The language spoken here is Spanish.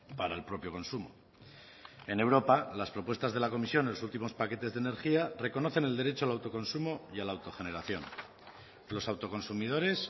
para el propio consumo en europa las propuestas de la comisión en los últimos paquetes de energía reconocen el derecho al autoconsumo y a la autogeneración los autoconsumidores